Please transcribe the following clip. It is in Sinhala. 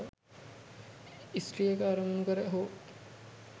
ස්ත්‍රියක අරමුණු කර හෝ